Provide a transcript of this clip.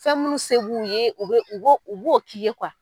Fɛn minnu se b'u ye u bɛ u b'o k'i ye .